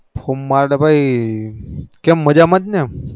form માં તો કેમ મજા માં ને